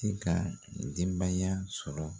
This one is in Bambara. tɛ ka denbaya sɔrɔ.